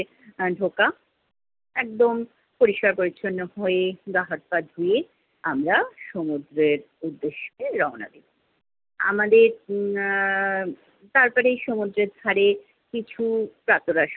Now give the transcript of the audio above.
আহ ঢোকাএকদম পরিষ্কার পরিচ্ছন্ন হয়ে, গা-হাত পা ধুয়ে আমরা সমুদ্রের উদ্দেশ্যে রওনা দিলাম। আমাদের আহ তারপরে সমুদ্রের ধারে কিছু প্রাতঃরাশ